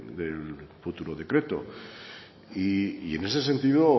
del futuro decreto y en ese sentido